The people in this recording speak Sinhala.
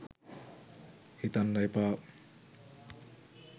හිතන්න එපා.